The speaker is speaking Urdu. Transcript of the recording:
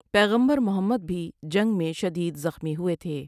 پیغمبر محمد بھی جنگ میں شدید زخمی ہوئے تھے ۔